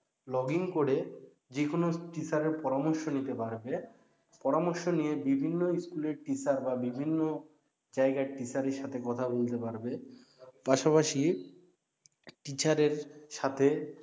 login করে যেকোন teacher এর পরামর্শ নিতে পারবে পরামর্শি নিয়ে বিভিন্ন স্কুলের teacher বা বিভিন্ন জায়গার teacher এর সাথে কথা বলতে পারবে পাশাপাশি teacher এর সাথে